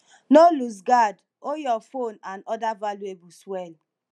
no loose guard hold your phone and oda valuables well